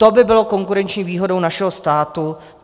To by bylo konkurenční výhodou našeho státu.